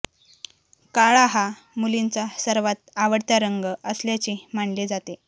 काळा हा मुलींचा सर्वात आवडता रंग असल्याचे मानले जाते